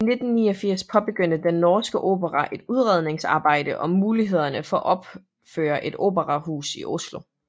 I 1989 påbegyndte Den Norske Opera et udredningsarbejde om mulighederne for at opføre et operahus i Oslo